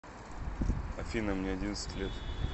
афина мне одиннадцать лет